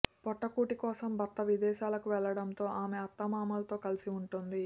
పొట్టకూటి కోసం భర్త విదేశాలకు వెళ్లడంతో ఆమె అత్తమామలతో కలసి ఉంటోంది